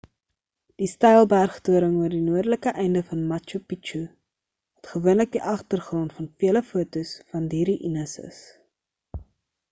die steil berg toring oor die noordelike einde van machu picchu wat gewoonlik die agtergrond van vele fotos van die ruϊnes is